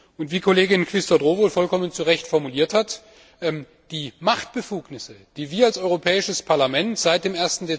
Und wie Kollegin Quisthoudt Rowohl vollkommen richtig formuliert hat Die Machtbefugnisse, die wir als Europäisches Parlament seit dem